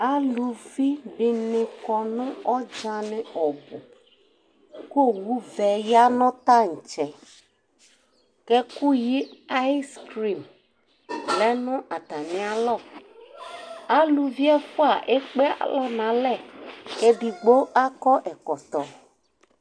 Alʋfi dini kɔnʋ ɔdzani kʋ owʋvɛ yanʋ tantsɛ kʋ ɛfʋyi ayskrin yanʋ atami alɔ, alʋvi ɛfʋa ekpe alɔ nʋ alɛ, kʋ edigbo akɔ ɛkɔtɔ